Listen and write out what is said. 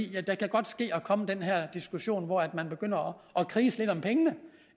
det kan godt ske at komme den her diskussion hvor man begynder at kriges lidt om pengene